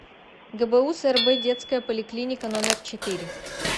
гбуз рб детская поликлиника номер четыре